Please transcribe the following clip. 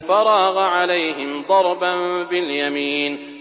فَرَاغَ عَلَيْهِمْ ضَرْبًا بِالْيَمِينِ